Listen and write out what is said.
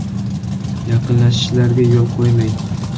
“Yaqinlashishlariga yo‘l qo‘ymang.